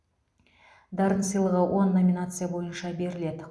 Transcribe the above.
дарын сыйлығы он номинация бойынша беріледі